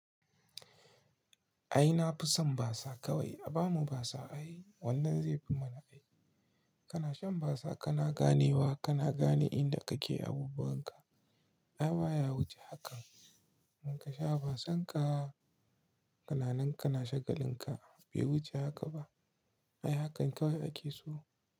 Ai na fi son basa kawai. A ba mu basa ai, wannan zai fi mana aiki. Kana shan basa kana ganewa, kana gane inda kake abubuwan ka. Ai baya wuce hakan. In ka sha basan ka, kananan ka na shagalin ka bai wuce haka ba. Ai hakan kawai ake so.